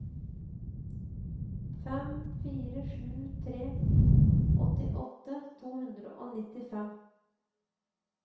fem fire sju tre åttiåtte to hundre og nittifem